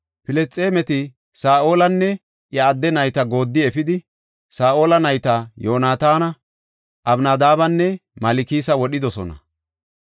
Filisxeemeti Saa7olanne iya adde nayta gooddi efidi Saa7ola nayta Yoonataana, Abinadaabanne Malkisa wodhidosona.